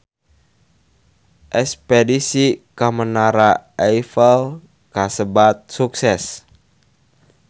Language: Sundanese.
Espedisi ka Menara Eiffel kasebat sukses